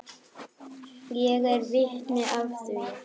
Ég er vitni að því.